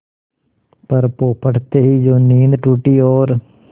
पर पौ फटते ही जो नींद टूटी और